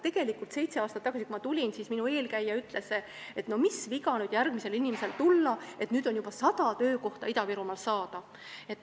Tegelikult, seitse aastat tagasi, kui ma töötukassasse tulin, siis minu eelkäija ütles, et mis viga nüüd järgmisel inimesel tulla, et nüüd on Ida-Virumaal juba sada töökohta saada.